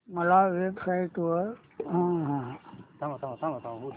मला online kurti buy करायची आहे